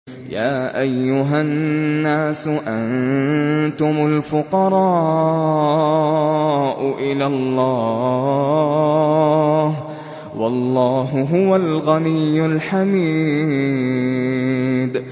۞ يَا أَيُّهَا النَّاسُ أَنتُمُ الْفُقَرَاءُ إِلَى اللَّهِ ۖ وَاللَّهُ هُوَ الْغَنِيُّ الْحَمِيدُ